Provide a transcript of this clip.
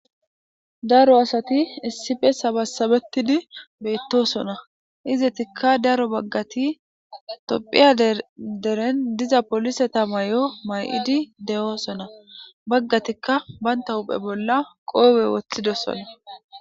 Daro asati issippe sabasabetidi beetosona izetika daro bagati tophiya gidon diza poliseta mayo mayidi de'osona bagatika banta huphe bolla kopiya wothidosona